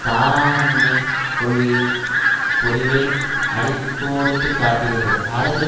தாராமண்மை கொள்கையின் பொறிவை அடி கோடிட்டு காட்டுகிறது அரசியல்